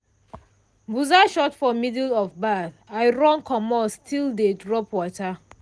buzzer shout for middle of baff i run commot still dey drop water.